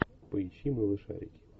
поищи малышарики